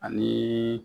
Ani